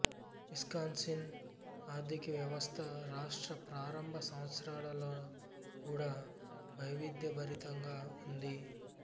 Wisconsin ఆర్ధికవ్యవస్థ రాష్ట్ర ప్రారంభ సంవత్సరాలలో కూడా వైవిధ్యభరితంగా ఉంది